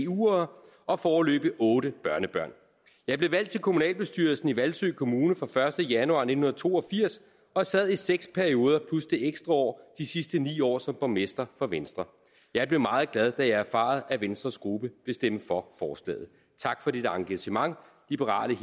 vuere og foreløbig otte børnebørn jeg blev valgt til kommunalbestyrelsen i hvalsø kommune fra den første januar nitten to og firs og sad i seks perioder plus det ekstra år de sidste ni år som borgmester for venstre jeg blev meget glad da jeg erfarede at venstres gruppe vil stemme for forslaget tak for dit engagement liberale